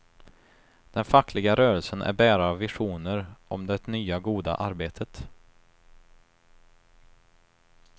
Den fackliga rörelsen är bärare av visioner om det nya goda arbetet.